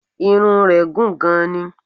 Irun rẹ̀ gùn gan ni